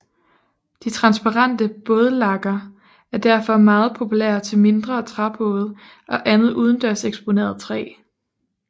De transparente bådlakker er derfor meget populære til mindre træbåde og andet udendørseksponeret træ